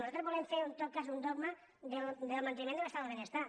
nosaltres volem fer en tot cas un dogma del manteniment de l’estat del benestar